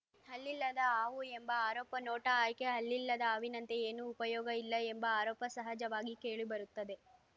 ಹಲ್ಲಿಲ್ಲದ ಹಾವು ಎಂಬ ಆರೋಪ ನೋಟಾ ಆಯ್ಕೆ ಹಲ್ಲಿಲ್ಲದ ಹಾವಿನಂತೆ ಏನೂ ಉಪಯೋಗ ಇಲ್ಲ ಎಂಬ ಆರೋಪ ಸಹಜವಾಗಿ ಕೇಳಿಬರುತ್ತದೆ